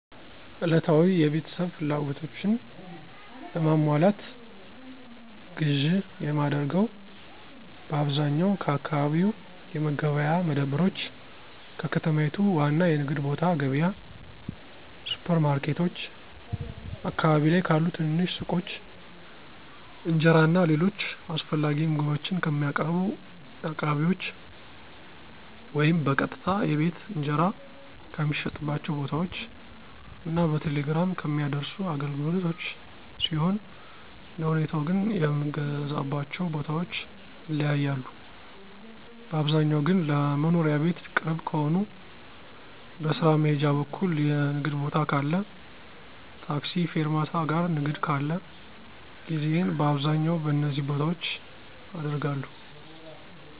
ዕለታዊ የቤተሰብ ፍላጎቶችን ለማሟላት ግዥ የማደርገው በአብዛኛው ከአካባቢ የመገበያያ መደብሮች፣ ከከተማይቱ ዋና የንግድ ቦታ ገብያ፣ ሱፐር ማርኬቶች፣ አካባቢ ላይ ካሉ ትንንሽ ሱቆች፣ እንጀራ እና ሌሎች አስፈላጊ ምግቦችን ከሚያቀርቡ አቅራቢዎች ወይም በቀጥታ የቤት እንጀራ ከሚሸጥባቸው ቦታዎች እና በቴሌግራም ከሚያደርሱ አገልግሎቶች ሲሆን አንደሁኔታው ግን የምገዛባቸው ቦታዎች ይለያያሉ, ባብዛኛው ግን ለመኖሪያ ቤት ቅርብ ከሆነ, በስራ መሄጃ በኩል የንግድ ቦታ ካለ ,ታክሲ ፌርማታ ጋር ንግድ ካለ ግዢየን በአብዛኛው በነዚ ቦታዎች አደርጋለሁ።